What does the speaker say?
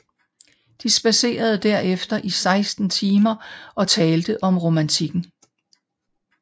De spadserede derefter i 16 timer og talte om romantikken